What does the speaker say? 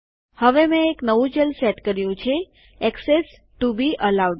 હવે મેં એક નવું ચલ સેટ કર્યું છે એક્સેસ ટુ બી અલાઉડ